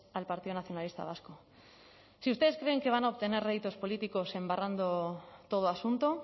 al partido nacionalista vasco si ustedes creen que van a obtener réditos políticos embarrando todo asunto